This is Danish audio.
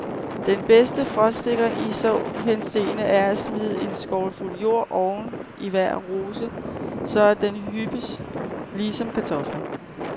Den bedste frostsikring i så henseende er at smide en skovlfuld jord oven i hver rose, så at den hyppes lige som kartofler.